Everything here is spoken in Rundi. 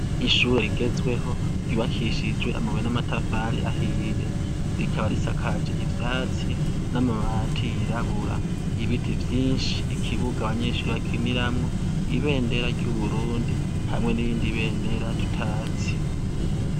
Ishure rigzweho ryubakishijwe amabuye n' amatafari ahiye rikaba risakaje ivyatsi n' amabati yirabura ibiti vyinshi ikibuga abanyeshure bakiniramwo ibendera ry' Uburundi hamwe n' irindi bendera tutazi.